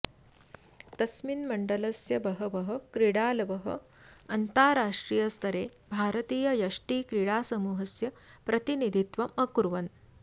तस्मिन् मण्डलस्य बहवः क्रीडालवः अन्ताराष्ट्रियस्तरे भारतीययष्टिक्रीडासमूहस्य प्रतिनिधित्वम् अकुर्वन्